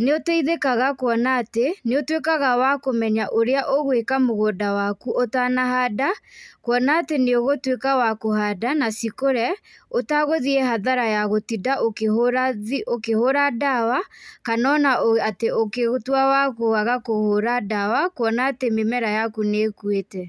nĩ ũteithĩkaga kuona atĩ nĩ ũtuĩkaga wa kũmenya ũrĩa ũgwĩka mũgũnda waku ũtanahanda. Kwona atĩ nĩ ũgũtuĩka wa kũhanda na cikũre ũtagũthiĩ hathara ya gũtinda ũkĩhũra ndawa, kana ona atĩ ũgĩtua wa kwaga kũhũra ndawa kuona atĩ mĩmera yaku nĩ ĩkuĩte.